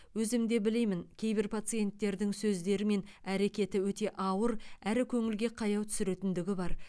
өзімде білемін кейбір пациенттердің сөздері мен әрекеті өте ауыр әрі көңілге қаяу түсіретіндігі бар